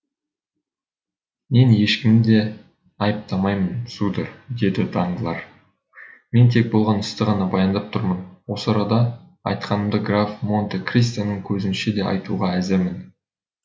мен ешкімді де айыптамаймын сударь деді данглар мен тек болған істі ғана баяндап тұрмын осы арада айтқанымды граф монте кристоның көзінше де айтуға әзірмін